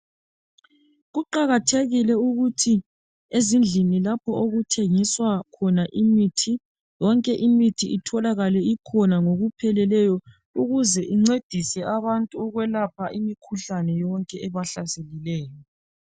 Kuqakathekile ukuthi ezindlini lapho okuthengiswa khona imithi, yonke imithi itholakale ikhona ngokupheleleyo ukuze incedise abantu ukwelapha imikhuhlane yonke ebahlaselileyo.